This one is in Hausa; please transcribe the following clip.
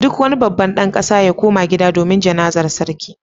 Duk wani babban dan kasa ya koma gida domin Jana'zar sarki